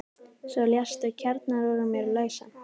Svo léstu kjarnann úr mér lausan.